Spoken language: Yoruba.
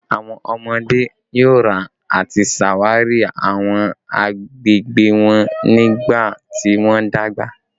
Awọn ọmọde yoo ra ati ṣawari awọn agbegbe wọn nigbati wọn dagba